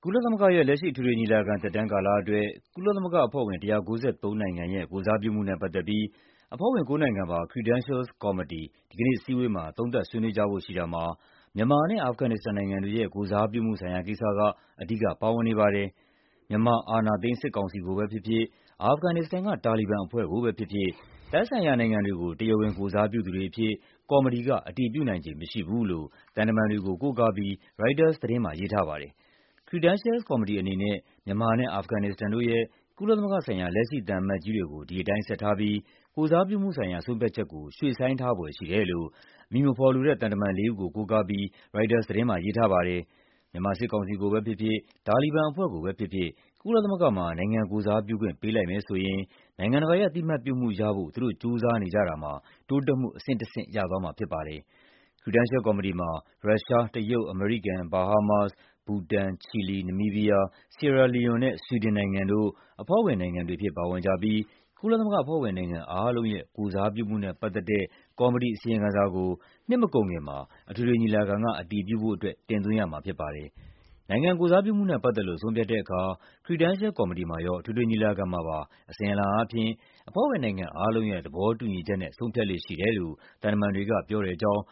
ုလသမဂ္ဂရဲ့ လက်ရှိ အထွေထွေညီလာခံ သက်တမ်းကာလအတွက် ကုလသမဂ္ဂအဖွဲ့ဝင် ၁၉၃ နိုင်ငံရဲ့ ကိုယ်စားပြုမှုနဲ့ပတ်သက်ပြီး အဖွဲ့ဝင်ကိုးနိုင်ငံပါ Credentials ကော်မတီ ဒီကနေ့ အစည်းအဝေးမှာ သုံးသပ်ဆွေးနွေးကြဖို့ရှိတာမှာ မြန်မာနဲ့ အာဖဂန်နစ္စတန်နိုင်ငံတွေရဲ့ ကိုယ်စားပြုမှုဆိုင်ရာကိစ္စက အဓိကပါဝင်နေပါတယ်။ မြန်မာ အာဏာသိမ်း စစ်ကောင်စီကိုပဲဖြစ်ဖြစ်၊ အာဖဂန်နစ္စတန်က တာလီဘန်အဖွဲ့ကိုပဲဖြစ်ဖြစ် သက်ဆိုင်ရာနိုင်ငံတွေကို တရားဝင်ကိုယ်စားပြုသူတွေအဖြစ် ကော်မတီက အတည်ပြုနိုင်ခြေမရှိဘူးလို့ သံတမန်တွေကို ကိုးကားပြီး ရိုက်တာသတင်းမှာ ရေးထားပါတယ်။ Credential ကော်မတီအနေနဲ့ မြန်မာနဲ့ အာဖဂန်နစ္စတန်တို့ရဲ့ ကုလသမဂ္ဂဆိုင်ရာ လက်ရှိသံအမတ်ကြီးတွေကို ဒီတိုင်းဆက်ထားပြီး ကိုယ်စားပြုမှုဆိုင်ရာ ဆုံးဖြတ် ချက်ကို ရွှေ့ဆိုင်းထားဖွယ်ရှိတယ်လို့ အမည်မဖော်လိုတဲ့ သံတမန်လေးဦးကို ကိုးကားပြီး ရိုက်တာသတင်းမှာ ရေးထားပါတယ်။ မြန်မာစစ်ကောင်စီကိုပဲဖြစ်ဖြစ်၊ တာလီဘန်အဖွဲ့ကိုပဲဖြစ်ဖြစ် ကုလသမဂ္ဂမှာ နိုင်ငံကိုယ်စားပြုခွင့် ပေးလိုက်မယ်ဆိုရင် နိုင်ငံတကာရဲ့ အသိအမှတ်ပြုမှုရဖို့ သူတို့ကြိုးစားနေကြတာမှာ တိုးတက်မှုအဆင့်တဆင့် ရသွားမှာဖြစ်ပါတယ်။ Credential ကော်မတီမှာ ရုရှား၊ တရုတ်၊ အမေရိကန်၊ ဘာဟားမားစ်၊ ဘူတန်၊ ချီလီ၊ နမီးဘီးယား၊ ဆီအဲရာ လီယွန်နဲ့ ဆွီဒင်နိုင်ငံတို့ အဖွဲ့ဝင်နိုင်ငံတွေအဖြစ် ပါဝင်ကြပြီး ကုလသမဂ္ဂ အဖွဲ့ဝင်နိုင်ငံအားလုံးရဲ့ ကိုယ်စားပြုမှုနဲ့ပတ်သက်တဲ့ ကော်မတီအစီရင်ခံစာကို နှစ်မကုန်ခင်မှာ အထွေထွေညီလာခံက အတည်ပြုဖို့အတွက် တင်သွင်းရမှာဖြစ်ပါတယ်။ နိုင်ငံကိုယ်စားပြုမှုနဲ့ပတ်သက်လို့ ဆုံးဖြတ်တဲ့အခါ Credential ကော်မတီမှာရော အထွေထွေညီလာခံမှာပါ အစဉ်အလာအားဖြင့် အဖွဲ့ဝင်နိုင်ငံအားလုံးရဲ့ သဘောတူညီချက်နဲ့ ဆုံးဖြတ်လေ့ရှိတယ်လို့ သံတမန်တွေကပြောတဲ့အကြောင်း